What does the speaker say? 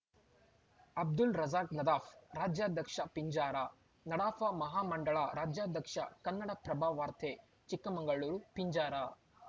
ಅಬ್ದುಲ್‌ ರಜಾಕ್‌ ನದಾಫ್‌ ರಾಜ್ಯಾಧ್ಯಕ್ಷ ಪಿಂಜಾರ ನಡಾಫ ಮಹಾ ಮಂಡಳ ರಾಜ್ಯಾಧ್ಯಕ್ಷ ಕನ್ನಡಪ್ರಭ ವಾರ್ತೆ ಚಿಕ್ಕಮಗಳೂರು ಪಿಂಜಾರ